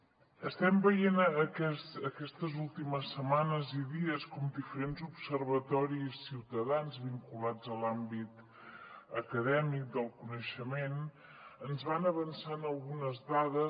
estem veient aquestes últimes setmanes i dies com diferents observatoris ciutadans vinculats a l’àmbit acadèmic del coneixement ens van avançant algunes dades